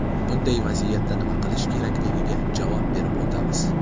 Bunday vaziyatda nima qilish kerakligiga javob berib o‘tamiz.